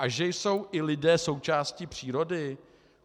A že jsou i lidé součástí přírody?